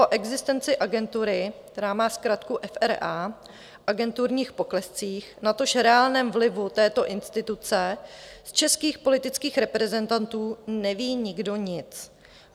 O existenci Agentury, která má zkratku FRA, agenturních poklescích, natož reálném vlivu této instituce z českých politických reprezentantů neví nikdo nic.